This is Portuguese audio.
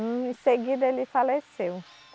Em seguida, ele faleceu.